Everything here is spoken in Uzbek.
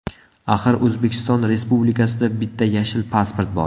Axir O‘zbekiston Respublikasida bitta yashil pasport bor.